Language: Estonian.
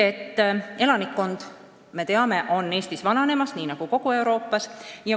Elanikkond, nagu me teame, on Eestis nii nagu kogu Euroopas vananemas.